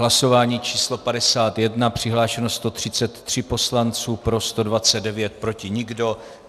Hlasování číslo 51, přihlášeno 133 poslanců, pro 129, proti nikdo.